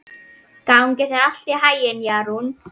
Gangi þér allt í haginn, Jarún.